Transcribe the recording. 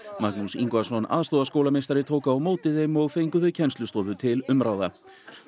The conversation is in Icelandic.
Magnús Ingvason aðstoðarskólameistari tók á móti þeim og fengu þau kennslustofu til umráða